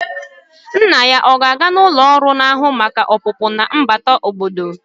Nna ya a ga-aga n'ụlọ ọrụ na-ahụ maka ọpụpụ na mbata obodo?